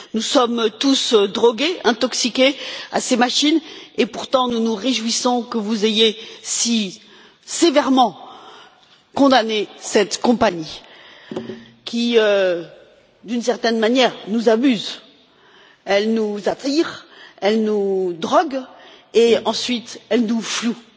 Nous sommes tous drogués, intoxiqués à ces machines et pourtant nous nous réjouissons que vous ayez si sévèrement condamné cette compagnie qui d'une certaine manière nous amuse, elle nous attire, elle nous drogue et ensuite elle nous floue.